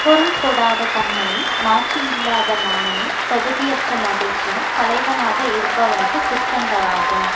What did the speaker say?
பொருள் கொடாத தன்மையும் மாட்சியில்லாத மானமும் தகுதியற்ற மகிழ்ச்சியும் தலைவனாக இருப்பவனுக்கு குற்றங்களாகும்